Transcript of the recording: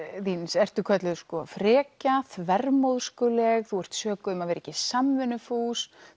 þíns ertu kölluð frekja þú ert sökuð um að vera ekki samvinnufús